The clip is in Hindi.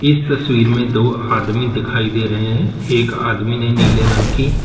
इस तस्वीर में दो आदमी दिखाई दे रहे हैं एक आदमी ने नीले रंग की--